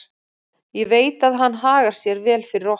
Ég veit að hann hagar sér vel fyrir okkur.